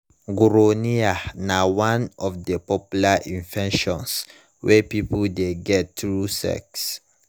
gonorrhea na one of the popular infections wey people de get through sex